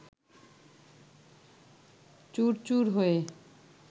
চুরচুর হয়ে